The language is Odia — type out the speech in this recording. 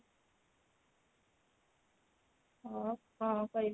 ଆଉ କଣ କରିବି